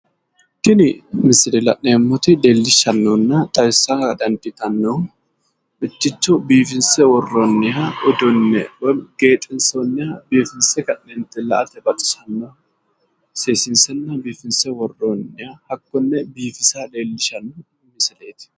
Tini misile la'neemmoti leellishannohunna xawissara dandiitannohu biifinsenna seesiinse worro uduunne leellishanno misileeti